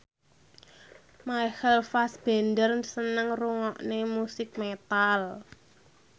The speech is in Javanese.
Michael Fassbender seneng ngrungokne musik metal